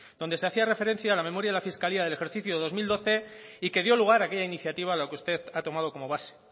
donde se hacía referencia a la memoria de la fiscalía del ejercicio del dos mil doce y que dio lugar a aquella iniciativa a la que usted ha tomado como base